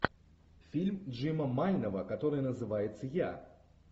фильм джима майнова который называется я